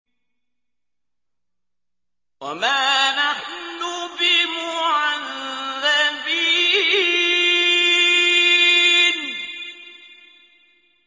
وَمَا نَحْنُ بِمُعَذَّبِينَ